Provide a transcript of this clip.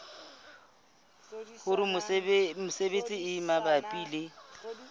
hore menyenyetsi e mabapi le